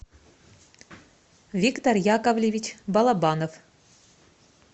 виктор яковлевич балабанов